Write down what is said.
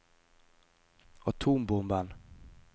atombomben